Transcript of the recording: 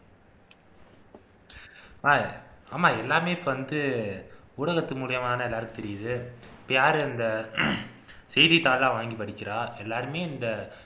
ஆஹ் ஆமா எல்லாமே இப்ப வந்து ஊடகத்து மூலியமாதான எல்லாருக்கும் தெரியுது இப்போ யார் இந்த செய்தித்தாள் எல்லாம் வாங்கி படிக்கிறா எல்லாருமே இந்த